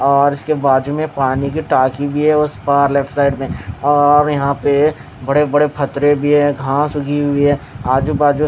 और उसके बाजुमें पानी की टाकी है उसपार लेफ्ट साईड में और यहाँ पे बड़े बड़े पत्तरे भी है घास भी उगी हुयी है आजुबाजु--